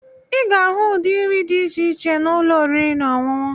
Ị ga-ahụ ụdị nri dị iche iche na ụlọ oriri na ọṅụṅụ.